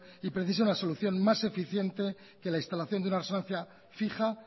y precisa una solución más eficiente que la instalación de una resonancia fija